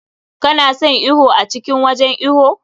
Ka na son iwo a cikin wajen iwo?